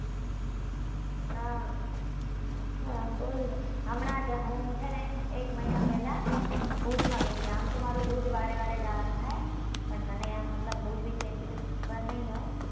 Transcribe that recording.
હા હા બોલ હમણાં જ હું છે ને એક મહિના પહેલા ભુજ માં ગઈ હતી આમ તો મારે ભુજ વારે વારે જવા નું થાય પણ તને આમ મતલબ ભુજ વિશે એટલી બધી ખબર ની હોય